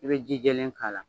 I bɛ ji jɛlen k'a la.